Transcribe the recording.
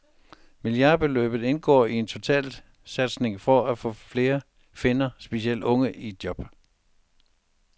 Milliardbeløbet indgår i en totalsatsning for at få flere finner, specielt unge, i job.